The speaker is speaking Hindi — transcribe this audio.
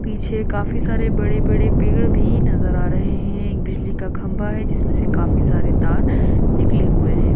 पीछे काफी सारे पेड़ पर भी नजर आ रही है बिजली का खत्म हो गई है जिसमें से काफी सारे तार निकले हैं।